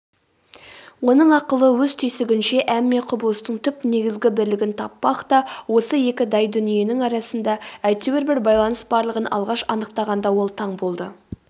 оның ақылы өз түйсігінше әмме құбылыстың түп негізгі бірлігін таппақта осы екі дай дүниенің арасында әйтеуір бір байланыс барлығын алғаш анықтағанда ол таң болды